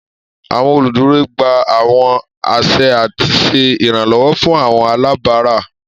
Àwọn oluduro gba àwọn aṣẹ ati ṣe iranlọwọ fun àwọn alabara.